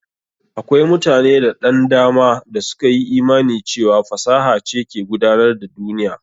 Akwai mutane da ɗan dama da suka yi imani cewa fasaha ce ke gudanar da duniya.